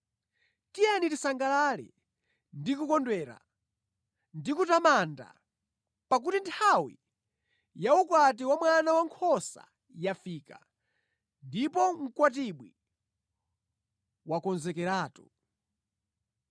Tiyeni tisangalale ndi kukondwera ndi kumutamanda! Pakuti nthawi ya ukwati wa Mwana Wankhosa yafika, ndipo Mkwatibwi wakonzekeratu.